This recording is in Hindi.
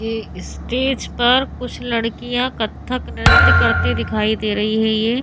ये इस्टेज पर कुछ लड़किया कत्थक नृत्य करते दिखाई दे रही है ये।